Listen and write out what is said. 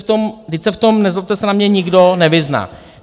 Vždyť se v tom, nezlobte se na mě, nikdo nevyzná!